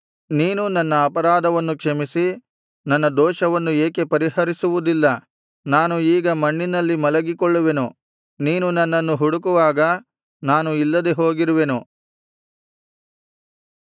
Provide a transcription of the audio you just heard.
ನೀನು ನನ್ನ ಅಪರಾಧವನ್ನು ಕ್ಷಮಿಸಿ ನನ್ನ ದೋಷವನ್ನು ಏಕೆ ಪರಿಹರಿಸುವುದಿಲ್ಲ ನಾನು ಈಗ ಮಣ್ಣಿನಲ್ಲಿ ಮಲಗಿಕೊಳ್ಳುವೆನು ನೀನು ನನ್ನನ್ನು ಹುಡುಕುವಾಗ ನಾನು ಇಲ್ಲದೆ ಹೋಗಿರುವೆನು